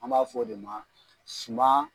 An b'a fɔ o de ma suma